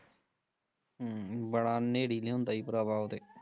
ਹਮ ਬੜਾ ਨੇਰੀ ਲਿਆਉਂਦਾ ਈ ਪਰਾਵਾਂ ਓਹ ਤੇ